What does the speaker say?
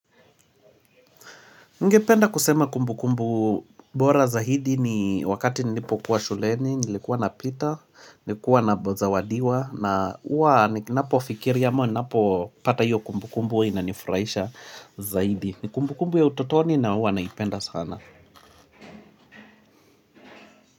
Ningependa kusema kumbukumbu bora zaidi ni wakati nilipokuwa shuleni, nilikuwa na pita, nilikuwa nazawadiwa na huwa ninapofikiria am ninapopata hiyo kumbukumbu huwa inanifurahisha zaidi ni kumbukumbu ya utotoni na huwa naipenda sana.